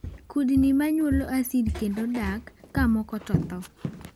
Kudni ma nyuolo acid kendo dak ka moko to tho. .